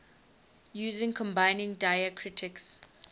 using combining diacritics